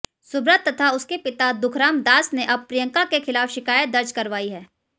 सुब्रत तथा उसके पिता दुखराम दास ने अब प्रियंका के खिलाफ शिकायत दर्ज करवाई है